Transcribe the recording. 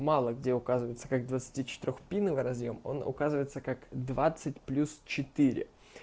мало где указывается как двадцати четырёх пиновый разъём он указывается как двадцать плюс четыре